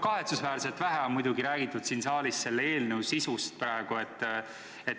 Kahetsusväärselt vähe on muidugi räägitud praegu siin saalis selle eelnõu sisust.